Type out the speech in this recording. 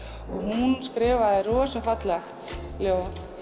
og hún skrifaði rosa fallegt ljóð